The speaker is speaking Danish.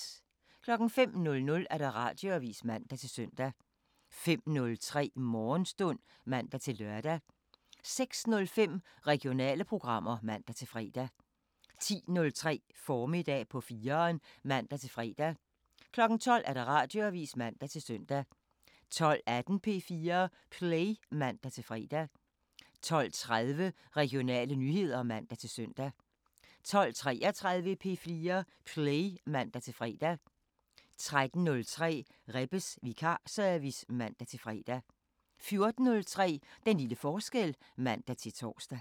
05:00: Radioavisen (man-søn) 05:03: Morgenstund (man-lør) 06:05: Regionale programmer (man-fre) 10:03: Formiddag på 4'eren (man-fre) 12:00: Radioavisen (man-søn) 12:18: P4 Play (man-fre) 12:30: Regionale nyheder (man-søn) 12:33: P4 Play (man-fre) 13:03: Rebbes Vikarservice (man-fre) 14:03: Den lille forskel (man-tor)